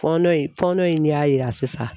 Fɔɔn inFɔɔn in de y'a yira sisan